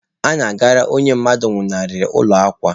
A na-agara onye mmadụ nwụnarịrị ụlọ akwa.